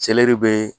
Seleri bɛ